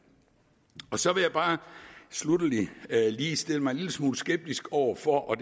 så vil jeg bare sluttelig lige stille mig en lille smule skeptisk over for